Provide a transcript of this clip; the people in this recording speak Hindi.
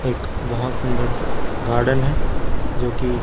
एक बहोत सुंदर गार्डन है जोकि--